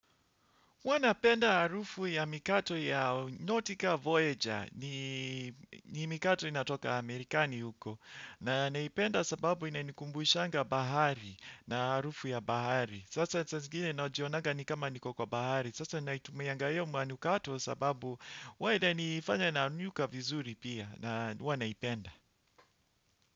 Huanapenda harufu ya mikato ya Notica Voyager ni mikato inatoka Amerikani huko na naipenda sababu inanikumbushanga bahari na arufu ya bahari. Sasa saa zingine najionanga ni kama niko kwa bahari. Sasa naitumianga hiyo manukato sababu huwaa nifanya na nyuka vizuri pia na huwanaipenda.